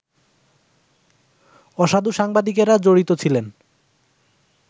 অসাধু সাংবাদিকেরা জড়িত ছিলেন